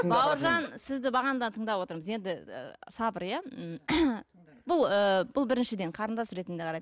бауыржан сізді бағанадан тыңдап отырмыз енді і сабыр иә м бұл ііі бұл біріншіден қарындас ретінде қарайды